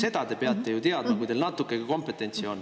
Seda te peate ju teadma, kui teil natukegi kompetentsi on.